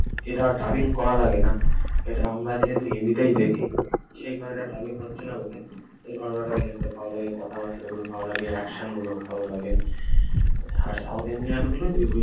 এটা আর ডাবিং করা লাগে না। এটা আমরা যেহেতু হিন্দিটাই দেখি সেই কারণে এটা ডাবিং হচ্ছে না বলে এই ঘটনাটা দেখতে ভালো লাগে, কথাবার্তাগুলো ভালো লাগে, action গুলো ভালো লাগে। আর সাউথ ইন্ডিয়ানগুলোই ওই ওই